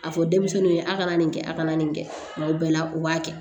A fɔ denmisɛnninw ye a' kana nin kɛ a kana nin kɛ tuma bɛɛ u b'a kɛ